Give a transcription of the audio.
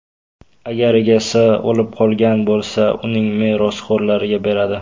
Agar egasi o‘lib qolgan bo‘lsa, uning merosxo‘rlariga beradi.